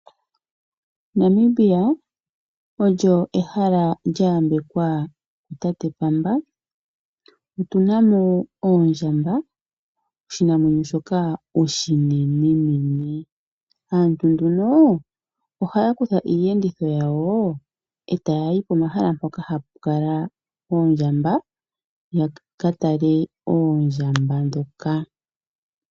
Namibia olyo ehala lya yambekwa ku tate pamba. Otuna mo oondjamba oshinamwenyo shoka oshinenenene. Aantu nduno ohaya kutha iiyenditho yawo etayayi pomahala mpoka hapu kala oondjamba, yaka tale oondjamba ndhoka.